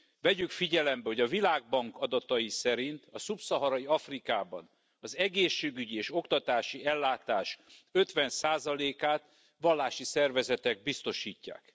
Vegyük figyelembe, hogy a Világbank adatai szerint a Szubszaharai Afrikában az egészségügyi és oktatási ellátás ötven százalékát vallási szervezetek biztosítják.